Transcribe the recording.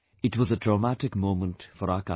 It was a traumatic moment for our country